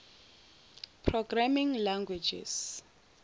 programming language